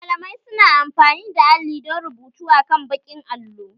Malamai su na amfani da alli don rubutu akan baƙin allo